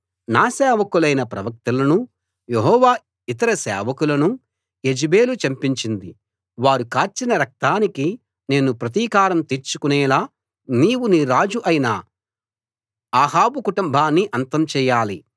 నా సేవకులైన ప్రవక్తలనూ యెహోవా ఇతర సేవకులనూ యెజెబెలు చంపించింది వారు కార్చిన రక్తానికి నేను ప్రతీకారం తీర్చుకునేలా నీవు నీ రాజు అయిన అహాబు కుటుంబాన్ని అంతం చేయాలి